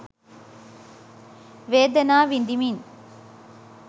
වේදනා විදිමින්